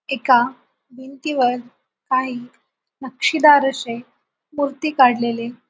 एका भिंतीवर काही नक्षीदार असे मूर्ती काडलेले--